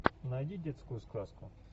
найди детскую сказку